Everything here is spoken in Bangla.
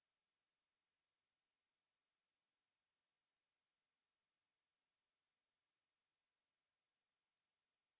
এটি ভারত সরকারের ict mhrd এর national mission on education দ্বারা সমর্থিত